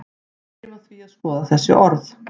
byrjum á því að skoða þessi orð